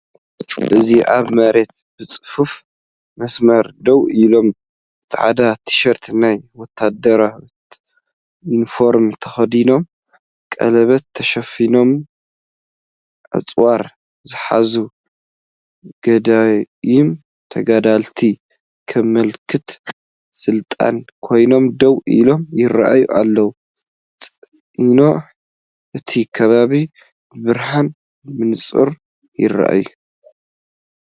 እዚ ኣብ መሬት ብጽፉፍ መስመር ደው ኢሎም፡ ጻዕዳ ቲሸርትን ናይ ወተሃደራት ዩኒፎርምን ተኸዲኖም፡ ቀለቤት ተሸፊኖምን ኣጽዋር ዝሓዙን ገዳይም ተጋደልቲ፡ ከም ምልክት ስልጣን ኮይኖም ደው ኢሎም ይረኣዩ ኣለው። ጸኒሑ እቲ ከባቢ ብብርሃን ብንጹር ይርአ።